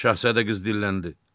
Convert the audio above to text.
Şahzadə qız dilləndi.